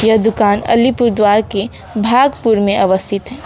यह दुकान अलीपुरद्वार के भागपुर में अवस्थित है।